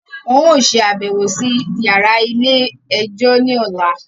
Wọn o ṣabẹwo sí yàrá ilé-ẹjọ ní ọla